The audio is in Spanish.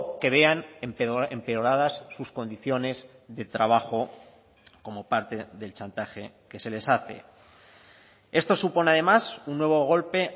que vean empeoradas sus condiciones de trabajo como parte del chantaje que se les hace esto supone además un nuevo golpe